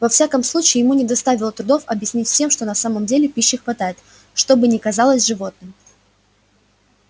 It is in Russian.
во всяком случае ему не доставило трудов объяснить всем что на самом деле пищи хватает что бы ни казалось животным